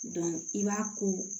i b'a ko